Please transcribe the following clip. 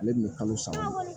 Ale tun bɛ kalo saba